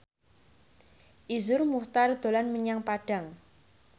Iszur Muchtar dolan menyang Padang